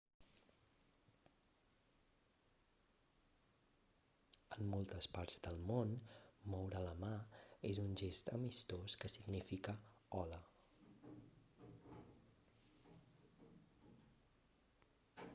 en moltes parts del món moure la mà és un gest amistós que significa hola